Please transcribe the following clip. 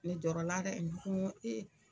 Ne jɔɔrɔ la dɛ n ko